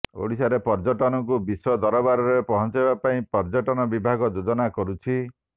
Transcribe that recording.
ଓଡିଶାର ପର୍ଯ୍ୟଟନକୁ ବିଶ୍ବ ଦରବାରରେ ପହଞ୍ଚାଇବା ପାଇଁ ପର୍ଯ୍ୟଟନ ବିଭାଗ ଯୋଜନା କରୁଛି